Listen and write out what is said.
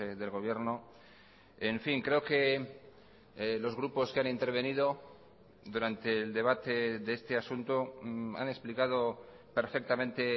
del gobierno en fin creo que los grupos que han intervenido durante el debate de este asunto han explicado perfectamente